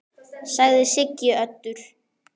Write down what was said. sagði Siggi Öddu.